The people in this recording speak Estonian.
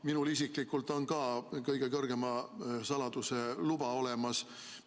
Minul isiklikult on ka kõige kõrgema saladuse luba olemas.